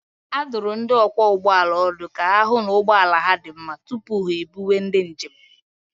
A dụrụ ndị ọkwọ ụgbọala ọdụ ka ha hụ na ụgbọ ala ha dị mma tupu ha ebuwe ndị njem